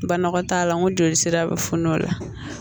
Banakɔ t'a la n ko joli sira bɛ funun o la